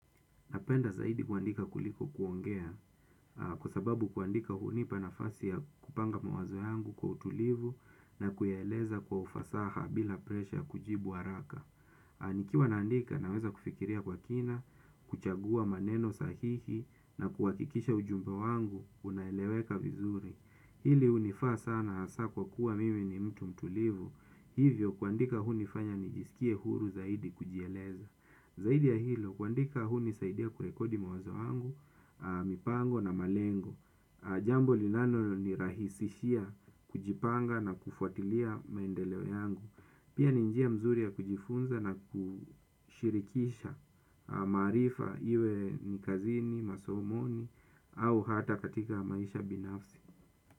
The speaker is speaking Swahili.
Napenda zaidi kuandika kuliko kuongea kwa sababu kuandika huni panafasi ya kupanga mawazo yangu kwa utulivu na kuyeleza kwa ufasaha bila presha kujibu waraka. Anikiwa naandika naweza kufikiria kwa kina, kuchagua maneno sahihi na kuwakikisha ujumbo wangu, unaeleweka vizuri. Hili unifaa sana asa kwa kuwa mimi ni mtu mtulivu, hivyo kuandika hunifanya nijisikie huru zaidi kujieleza. Zaidi ya hilo, kuandika huu nisaidia kurekodi mawazo wangu, mipango na malengo. Jambo linalo nirahisishia kujipanga na kufuatilia maendeleo yangu. Pia ni njia nzuri ya kujifunza na kushirikisha maarifa iwe ni kazini, masomoni au hata katika maisha binafsi.